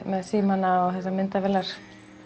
með símana og þessar myndavélar